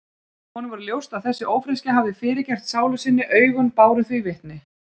Honum varð ljóst að þessi ófreskja hafði fyrirgert sálu sinni, augun báru því vitni.